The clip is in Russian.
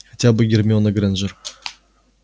хотя бы гермиона грэйнджер